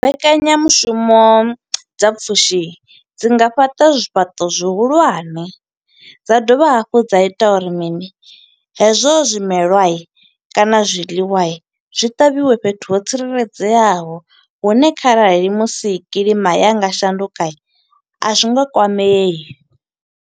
Mbekanyamushumo dza pfushi dzi nga fhaṱa zwifhaṱo zwihulwane, dza dovha hafhu dza ita uri mini? Hezwo zwimelwa kana zwiḽiwa, zwi ṱavhiwe fhethu ho tsireledzeaho. Hune kharali musi kiḽima ya nga shanduka, a zwi nga kwamei.